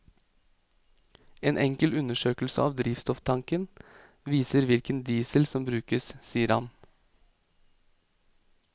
En enkel undersøkelse av drivstofftanken viser hvilken diesel som brukes, sier han.